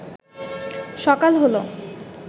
সকাল হল